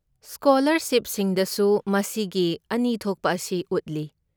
ꯁ꯭ꯀꯣꯂꯥꯔꯁꯤꯞꯁꯤꯡꯗꯁꯨ ꯃꯁꯤꯒꯤ ꯑꯅꯤ ꯊꯣꯛꯄ ꯑꯁꯤ ꯎꯠꯂꯤ꯫